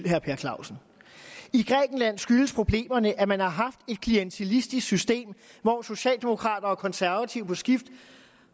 herre per clausen skyldes problemerne at man har haft et klientelistisk system hvor socialdemokrater og konservative på skift